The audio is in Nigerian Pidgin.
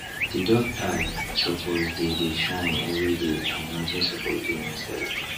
the duck eye suppose dey dey shine everyday and nothing suppose dey inside